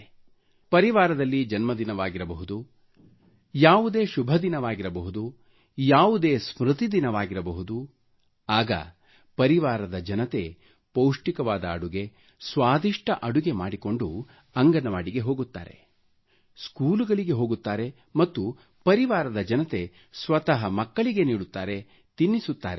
ಒಂದು ವೇಳೆ ಪರಿವಾರದಲ್ಲಿ ಜನ್ಮದಿನವಾಗಿರಬಹುದು ಯಾವುದೇ ಶುಭದಿನವಾಗಿರಬಹುದು ಯಾವುದೇ ಸ್ಮ್ರತಿ ದಿನವಾಗಿರಬಹುದು ಆಗ ಪರಿವಾರದ ಜನತೆ ಪೌಷ್ಟಿಕವಾದ ಅಡುಗೆ ಸ್ವಾಧಿಷ್ಟ ಅಡುಗೆ ಮಾಡಿಕೊಂಡು ಅಂಗನವಾಡಿಗೆ ಹೋಗುತ್ತಾರೆ ಸ್ಕೂಲುಗಳಿಗೆ ಹೋಗುತ್ತಾರೆ ಮತ್ತು ಪರಿವಾರದ ಜನತೆ ಸ್ವತಃ ಮಕ್ಕಳಿಗೆ ನೀಡುತ್ತಾರೆ ತಿನ್ನಿಸುತ್ತಾರೆ